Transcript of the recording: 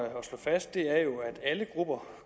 slå fast er jo at alle grupper